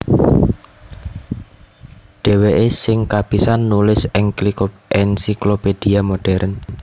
Dhèwèké sing kapisan nulis Encyclopédie modèrn